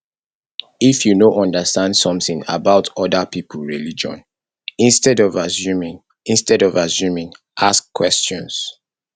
if you no understand something about oda pipo religion instead of assuming instead of assuming ask questions